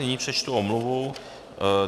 Nyní přečtu omluvu.